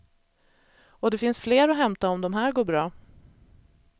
Och det finns fler att hämta om de här går bra.